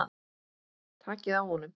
Takið á honum!